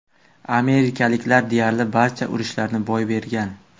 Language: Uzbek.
Amerikaliklar deyarli barcha urushlarni boy bergan.